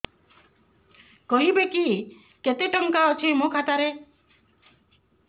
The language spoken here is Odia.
କହିବେକି କେତେ ଟଙ୍କା ଅଛି ମୋ ଖାତା ରେ